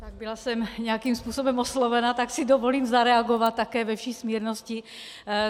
Byla jsem nějakým způsobem oslovena, tak si dovolím zareagovat také ve vší smírnosti.